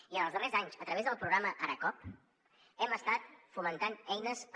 i en els darrers anys a través del programa aracoop hem estat fomentant eines per